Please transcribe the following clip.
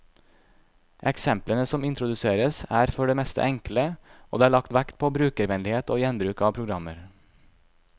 Eksemplene som introduseres, er for det meste enkle, og det er lagt vekt på brukervennlighet og gjenbruk av programmer.